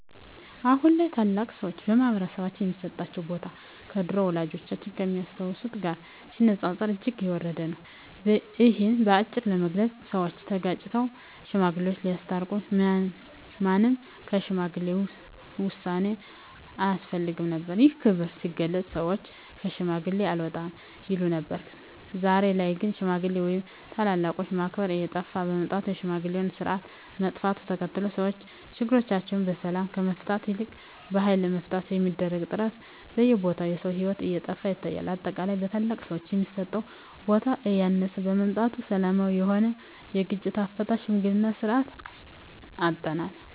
አሁን ላይ ታላላቅ ሰዎች በማህበረሰባችን ሚሰጣቸው ቦታ ከድሮው ወላጆቻችን ከሚያስታውሱት ጋር ሲነጻጸር እጅግ የወረደ ነው። እሂን በአጭሩ ለመግለጽ ሰወች ተጋጭተው ሽማግሌወች ሲያስታርቁ ማንም ከሽማግሌ ውሳኔ አያፈገፍግም ነበር። ይህም ክብር ሲገለጽ ሰወች ከሽማግሌ አልወጣም ይሉ ነበር። ዛሬ ላይ ግን ሽማግሌ ወይም ታላላቆችን ማክበር እየጠፋ በመምጣቱ የሽምግልናው ስርአት መጥፋቱን ተከትሎ ሰወች ችግሮቻቸውን በሰላም ከመፍታት ይልቅ በሀይል ለመፍታት በሚደረግ ጥረት በየቦታው የሰው ሂወት እየጠፋ ይታያል። በአጠቃላይ ለታላላቅ ሰወች የሚሰጠው ቦታ እያነሰ በመምጣቱ ሰላማዊ የሆነውን የግጭት አፈታት የሽምግልናን ስርአት አጠናል።